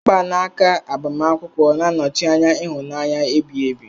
Mgbanaka agbamakwụkwọ na-anọchi anya ịhụnanya ebighi ebi.